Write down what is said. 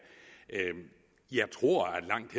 jeg tror at langt